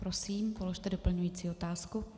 Prosím, položte doplňující otázku.